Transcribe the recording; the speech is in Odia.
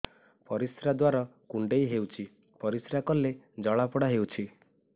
ପରିଶ୍ରା ଦ୍ୱାର କୁଣ୍ଡେଇ ହେଉଚି ପରିଶ୍ରା କଲେ ଜଳାପୋଡା ହେଉଛି